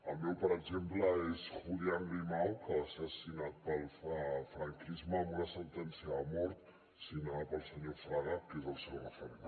el meu per exemple és julián grimau que va ser assassinat pel franquisme amb una sentència de mort signada pel senyor fraga que és el seu referent